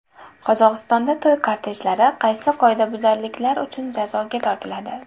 Qozog‘istonda to‘y kortejlari qaysi qoidabuzarliklar uchun jazoga tortiladi?.